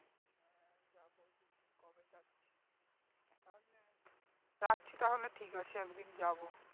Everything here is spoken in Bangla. রাখছি তাহলে ঠিক আছে একদিন যাবো